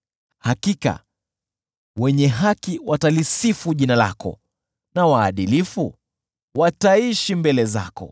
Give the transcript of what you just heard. Hakika wenye haki watalisifu jina lako, na waadilifu wataishi mbele zako.